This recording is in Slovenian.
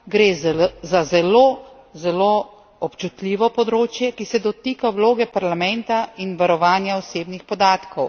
Gre za zelo, zelo občutljivo področje, ki se dotika vloge Parlamenta in varovanja osebnih podatkov.